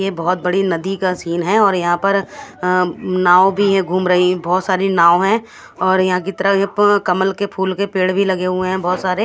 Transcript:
ये एक बोहोत बड़ी नदी का सीन है और यहाँ पर अ नाव भी घूम रही है बोहोत साड़ी नाव है और यहाँ की तरफ कमल के फूल के पेड़ भी लगे हुए है बोहोत सारे--